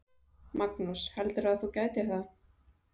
Magnús: Heldurðu að þú gætir það?